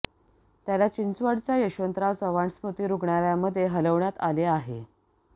त्याला चिंचवडच्या यशवंतराव चव्हाण स्मृती रुग्णालयमध्ये हलवण्यात आलं आहे